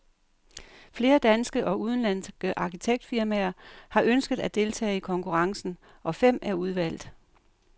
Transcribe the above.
Flere danske og udenlandske arkitektfirmaer har ønsket at deltage i konkurrencen, og fem er udvalgt.